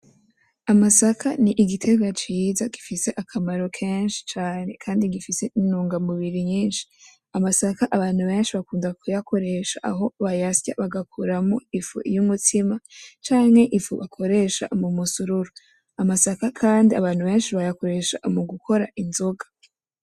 Amasaka n'igitegwa ciza gifise akamaro kanini cane kandi gifise intungamubiri nyinshi, amasaka abantu benshi bakunda kuyakoresha aho bayasya bagakuramwo ifu y'umutsima canke ifu bakoresha mumusururu, amasaka kandi abantu benshi bayakoresha mu gukora inzoga.